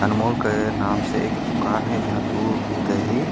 अनमोल के नाम से एक दुकान हे जहाँ दूध दही--